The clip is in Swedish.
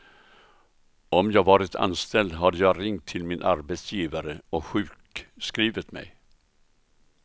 Om jag varit anställd hade jag ringt till min arbetsgivare och sjukskrivit mig.